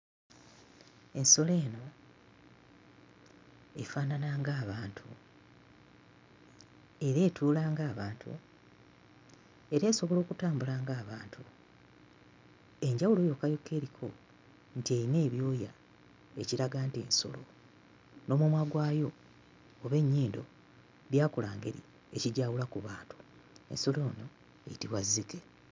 Ensolo eno efaanana ng'abantu era etuula ng'abantu era esobola okutambula ng'abantu. Enjawulo yokka yokka eriko nti erina ebyoya, ekiraga nti nsolo; n'omumwa gwayo oba ennyindo byakula ngeri, ekigyawula ku bantu. Ensolo eno eyitibwa zzike.